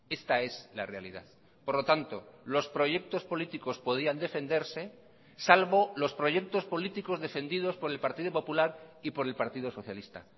esta es la realidad por lo tanto los proyectos políticos podían defenderse salvo los proyectos políticos defendidos por el partido popular y por el partido socialista